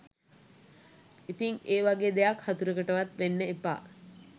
ඉතින් ඒ වගේ දෙයක් හතුරෙකුටවත් වෙන්න එපා